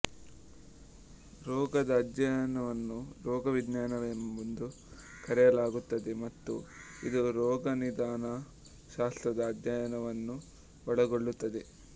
ರೋಗದ ಅಧ್ಯಯನವನ್ನು ರೋಗ ವಿಜ್ಞಾನವೆಂದು ಕರೆಯಲಾಗುತ್ತದೆ ಮತ್ತು ಇದು ರೋಗನಿದಾನ ಶಾಸ್ತ್ರದ ಅಧ್ಯಯನವನ್ನು ಒಳಗೊಳ್ಳುತ್ತದೆ